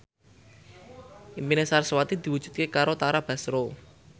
impine sarasvati diwujudke karo Tara Basro